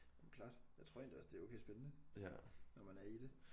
Jamen klart jeg tror egentlig også det er okay spændende når man er i det